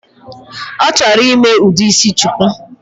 Ọchọrọ ime udi isi shuku?